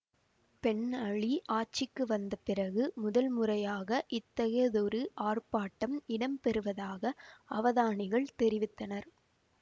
pen Ali ஆட்சிக்கு வந்தபிறகு முதல் முறையாக இத்தகையதொரு ஆர்ப்பாட்டம் இடம்பெறுவதாக அவதானிகள் தெரிவித்தனர்